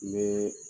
N bɛ